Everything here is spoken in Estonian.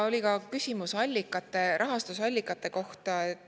Oli ka küsimus rahastusallikate kohta.